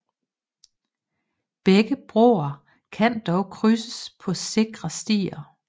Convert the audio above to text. Begge broer kan dog krydses på sikre stier